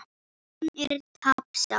Hann er tapsár.